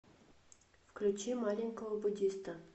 включи маленького буддиста